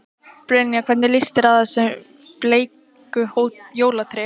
Brynja: Hvernig líst þér á þessi bleiku jólatré?